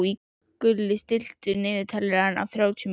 Gulli, stilltu niðurteljara á þrjátíu mínútur.